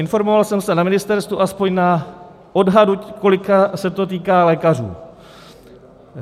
Informoval jsem se na ministerstvu aspoň na odhadu, kolika se to týká lékařů.